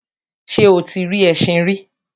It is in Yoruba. ṣé o ti rí ẹṣin rí?